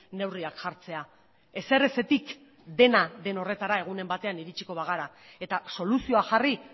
neurriak jartzea ezerezetik dena den horretara egunen batean iritsiko bagara eta soluzioa jarri